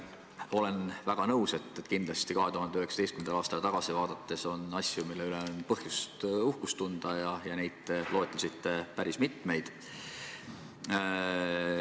Olen väga nõus, et kindlasti 2019. aastale tagasi vaadates on asju, mille üle on põhjust uhkust tunda, ja neid te loetlesite päris mitmeid.